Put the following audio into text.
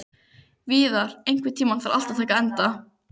Víðar, einhvern tímann þarf allt að taka enda.